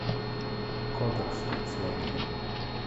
кодекс сводника